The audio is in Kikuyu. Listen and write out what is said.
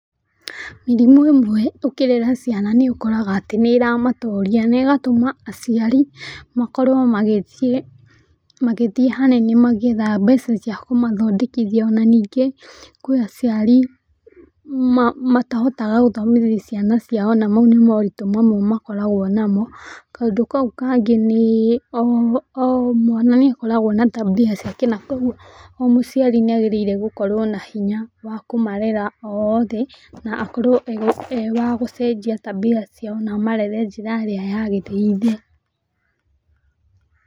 Mĩrimũ ĩmwe ũkĩrera ciana nĩ ũkoraga atĩ nĩ ĩramatoria na ĩgatũma aciari makorwo magĩthiĩ hanene magĩetha mbeca cia kũmathondekithia , ona ningĩ kwi aciari matahotaga gũthomithia ciana ciao na mau nĩ maũritũ mamwe makoragwo namo. Kũndũ kau kangĩ nĩ o mwana nĩ akoragwo na tabia ciake na koguo o mũciari nĩ agĩrĩire gũkorwo na hinya wa kũmarera othe na akorwo e wagũcenjia tabia ciao na amarere na njĩra ĩrĩa yagĩreire.